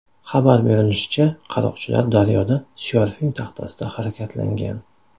Xabar berilishicha, qaroqchilar daryoda syorfing taxtasida harakatlangan.